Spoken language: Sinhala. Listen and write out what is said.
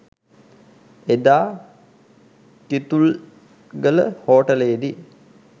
එදා කිතුල්ගල හෝටලේදි